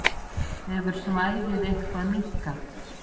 Hefur svæðið eitthvað minnkað?